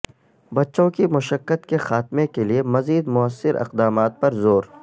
بچوں کی مشقت کے خاتمے کے لیے مزید موثر اقدامات پر زور